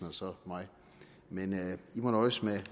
og så mig men man må nøjes med